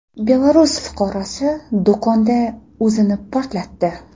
Belarus fuqarosi do‘konda o‘zini portlatdi.